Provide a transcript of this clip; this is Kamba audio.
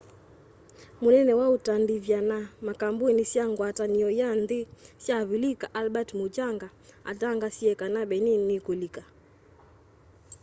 mũnene wa utandithya na makambuni sya ngwatanĩo ya nthĩ sya avilika albert muchanga atangaasie kana benin nĩ ĩkulika